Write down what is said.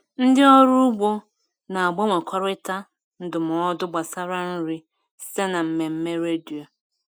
Ndị ọrụ ugbo na-agbanwekọrịta ndụmọdụ gbasara nri site na mmemme redio.